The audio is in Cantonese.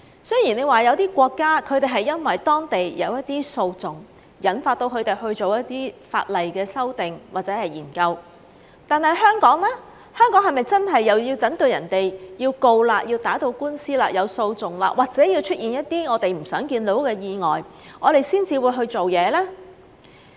雖說有一些國家因為當地有一些訴訟，引發他們去做一些法例的修訂或者研究，但香港是否真的又要等別人要打官司，提起訴訟，或者出現一些我們不想看到的意外，我們才會去做事呢？